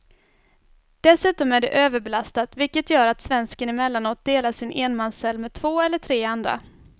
Dessutom är det överbelastat vilket gör att svensken emellanåt delar sin enmanscell med två eller tre andra.